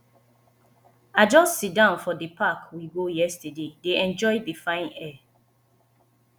i just sit down for the park we go yesterday dey enjoy the fine air